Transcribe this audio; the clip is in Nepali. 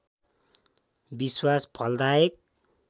विश्वास फलदायक